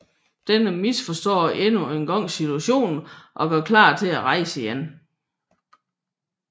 Denne misforstår endnu en gang situationen og gør klar til at rejse igen